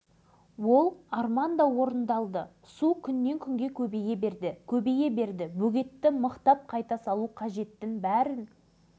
кіші аралға су тола бастағанын көрген жоғарғы жақтағы мамандар мен басшылар алғашқыда өз көздеріне өздері сенбеді